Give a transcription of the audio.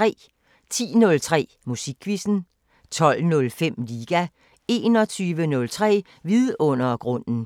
10:03: Musikquizzen 12:05: Liga 21:03: Vidundergrunden